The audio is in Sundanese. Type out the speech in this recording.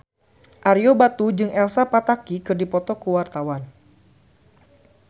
Ario Batu jeung Elsa Pataky keur dipoto ku wartawan